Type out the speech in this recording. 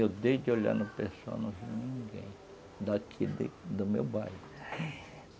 Eu desde de olhar no pessoal não vi ninguém daqui de do meu bairro.